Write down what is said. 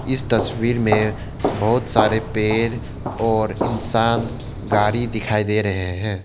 इस तस्वीर में बहोत सारे पेड़ और इंसान गाड़ी दिखाई दे रहे हैं।